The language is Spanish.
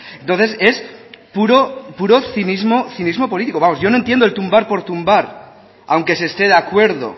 entonces es puro cinismo político vamos yo no entiendo el tumbar por tumbar aunque se esté de acuerdo